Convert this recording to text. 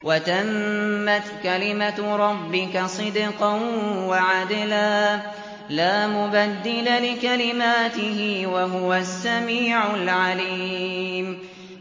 وَتَمَّتْ كَلِمَتُ رَبِّكَ صِدْقًا وَعَدْلًا ۚ لَّا مُبَدِّلَ لِكَلِمَاتِهِ ۚ وَهُوَ السَّمِيعُ الْعَلِيمُ